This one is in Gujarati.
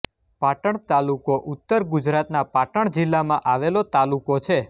પાટણ તાલુકો ઉત્તર ગુજરાતના પાટણ જિલ્લામાં આવેલો તાલુકો છે